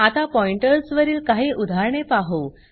आता पॉइंटर्स वरील काही उदाहरणे पाहु